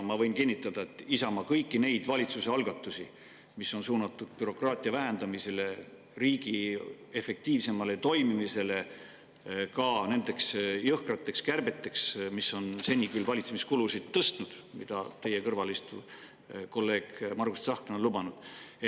Ma võin kinnitada, et Isamaa kõiki neid valitsuse algatusi, mis on suunatud bürokraatia vähendamisele ja riigi efektiivsemale toimimisele, ka neid jõhkraid kärpeid, mis on seni küll valitsemiskulusid tõstnud ja mida teie kõrval istuv kolleeg Margus Tsahkna on lubanud.